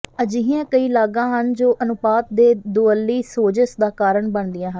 ਅਜਿਹੀਆਂ ਕਈ ਲਾਗਾਂ ਹਨ ਜੋ ਅਨੁਪਾਤ ਦੇ ਦੁਵੱਲੀ ਸੋਜਸ਼ ਦਾ ਕਾਰਨ ਬਣਦੀਆਂ ਹਨ